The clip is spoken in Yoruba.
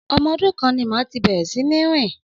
Ọmọ dún kàn màtí bẹẹrẹ sínì rin.